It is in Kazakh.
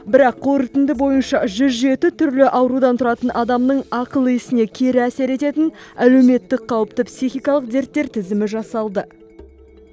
бірақ қорытынды бойынша жүз жеті түрлі аурудан тұратын адамның ақыл есіне кері әсер ететін әлеуметтік қауіпті психикалық дерттер тізімі жасалды